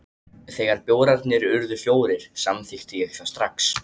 Þegar bjórarnir urðu fjórir, samþykkti ég það strax.